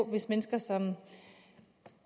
hvis mennesker som